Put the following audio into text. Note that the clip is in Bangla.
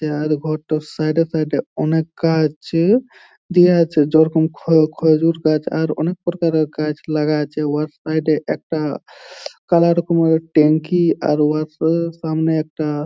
উহার ঘরটর সাইডে সাইডে অনেক গাছ দিয়া আছে যেরকম খ- খ- খজুর গাছ আর অনেক প্রকারের গাছ লাগা আছে। উহার সাইড - এ একটা কালা রকমের ট্যাংকি আর উহার স- সামনে একটা --